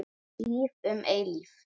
Líf um eilífð.